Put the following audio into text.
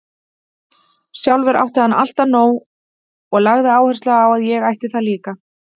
Sjálfur átti hann alltaf nóg og lagði áherslu á að ég ætti það líka.